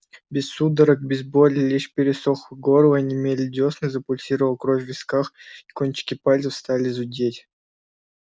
без судорог без боли лишь пересохло горло онемели дёсны запульсировала кровь в висках а кончики пальцев стали зудеть